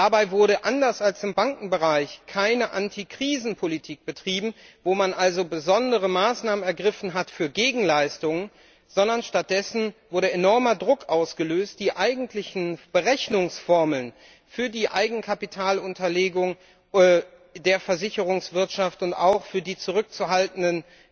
Dabei wurde anders als im Bankenbereich keine Antikrisenpolitik betrieben, wo man also besondere Maßnahmen ergriffen hat für Gegenleistungen, sondern stattdessen wurde enormer Druck ausgeübt, die Eigenkapitalunterlegung der Versicherungswirtschaft und auch die zurückzuhaltenden